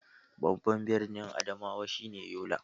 Babban birnin Adamawa shi ne Yola.